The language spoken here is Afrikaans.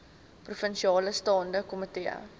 provinsiale staande komitee